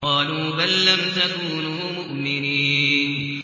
قَالُوا بَل لَّمْ تَكُونُوا مُؤْمِنِينَ